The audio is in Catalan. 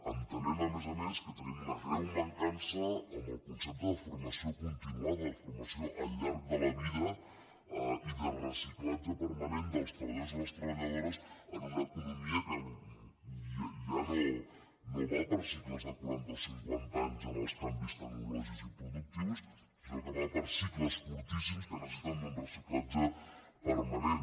entenem a més a més que tenim una greu mancança en el concepte de formació continuada formació al llarg de la vida i de reciclatge permanent dels treballadors i les treballadores en una economia que ja no va per cicles de quaranta o cinquanta anys en els canvis tecnològics i productius sinó que va per cicles curtíssims que necessiten un reciclatge permanent